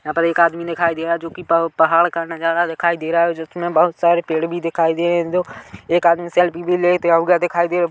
यहाँ पर एक आदमी दिखाई दे रहा हैं जो कि पव पहाड़ का नज़ारा दिखाई दे रहा हैं जिसमे बहुत सारे पेड़-पौधे दिखाई दे रहे हैं एक आदमी सेल्फी भी लेते हुए दिखाई दे--